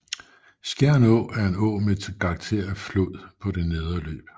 Skjern Å er en å med karakter af flod på det nedre løb